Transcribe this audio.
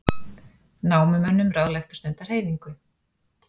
Námumönnum ráðlagt að stunda hreyfingu